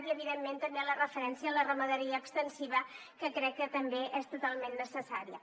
i evidentment també la referència a la ramaderia extensiva que crec que també és totalment necessària